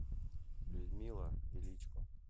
людмила величко